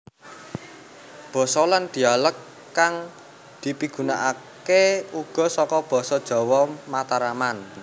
Basa lan dhialek kang dipigunaake uga saka basa jawa mataraman